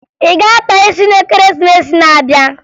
Ị ga-akpa isi n'Ekeresimesi na-abịa.